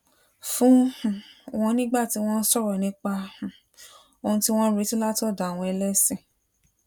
fún um wọn nígbà tí wón ń sòrò nípa um ohun tí wón ń retí látòdò àwọn ẹlésìn